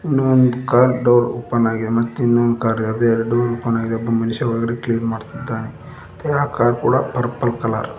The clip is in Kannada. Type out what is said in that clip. ಇನ್ನೊಂದ್ ಕಾರ್ ಡೋರ್ ಓಪನ್ ಆಗಿದೆ ಮತ್ತ್ ಇನ್ನೊಂದ್ ಕಾರ್ ಆದು ಎರಡು ಓಪನ್ ಆಗಿದೆ ಒಬ್ಬ ಮನುಷ್ಯ ಒಳಗಡೆ ಕ್ಲೀನ್ ಮಾಡುತ್ತಿದ್ದಾನೆ ಮತ್ತೆ ಕಾರ್ ಕೂಡ ಪರ್ಪಲ್ ಕಲರ್ .